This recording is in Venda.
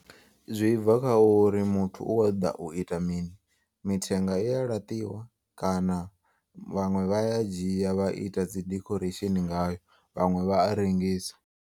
Zwi bva kha uri muthu u kho ṱoḓa u ita mini. Mithenga iya laṱiwa kana vhaṅwe vha ya dzhiya vha ita dzi decoration ngayo vhaṅwe vha a rengisa.